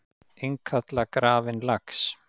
Innkalla grafinn lax